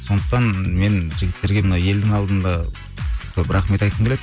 сондықтан мен жігіттерге мына елдің алдында көп рахмет айтқым келеді